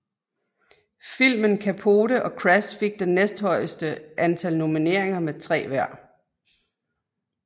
Filmen Capote og Crash fik den næsthøjeste antal nomineriner med 3 hver